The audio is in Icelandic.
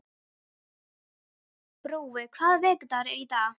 Brói, hvaða vikudagur er í dag?